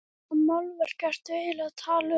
Hvaða málverk ertu eiginlega að tala um?